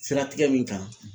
Siratigɛ min kan